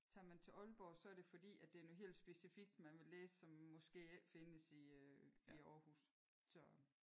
Tager man til Aalborg så er det fordi at det er noget helt specifikt man vil læse som måske ikke findes i øh i Aarhus så